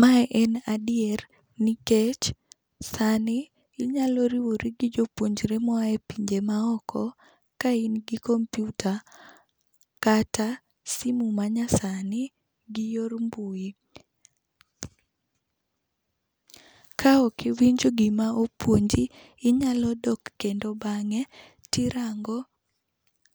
Mae en adier nikech sani inyalo riwori gi jopuonjre moa epinje maoko ka in gi kompiuta kata simu manyasani gi yor mbui. Kaok iwinjo gima opuonji, inyalo dok kendo bang'e, tirango